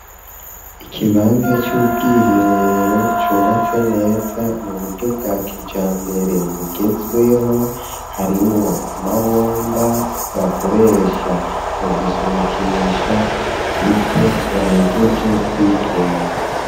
Ikibanza c'ubwiherero cubatse neza mu buryo bwa kijambere bugezweho ,harimwo amabomba bakoresha mu gusunikisha ivyo bahejeje kwituma.